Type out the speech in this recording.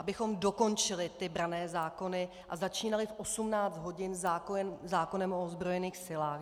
Abychom dokončili ty branné zákony a začínali v 18 hodin zákonem o ozbrojených silách.